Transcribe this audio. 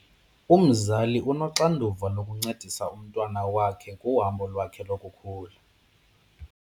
Umzali unoxanduva lokuncedisa umntwana wakhe kuhambo lwakhe lokukhula.